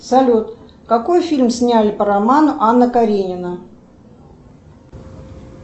салют какой фильм сняли по роману анна каренина